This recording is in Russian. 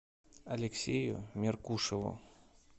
алексею меркушеву